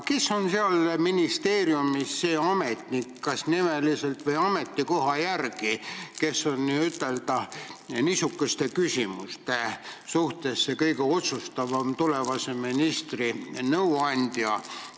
Kes on seal ministeeriumis see ametnik – kas nimeliselt või ametikoha järgi –, kes on niisuguste küsimuste puhul kõige otsustavam tulevase ministri nõuandja?